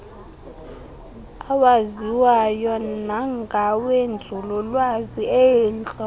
awaziwayo nangawenzululwazi eentlobo